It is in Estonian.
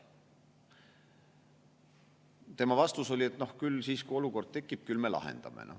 Tema vastus oli, et küll me siis, kui olukord tekib, lahendame.